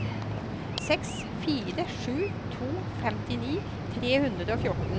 seks fire sju to femtini tre hundre og fjorten